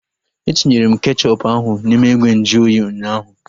Etinyere m kechọpu ahu n'ime ìgwè nju oyi ụnyaahụ